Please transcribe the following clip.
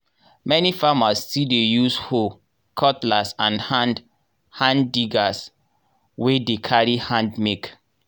many farmers still dey use hoe. cutlass and hand hand diggers wey dey carry hand make.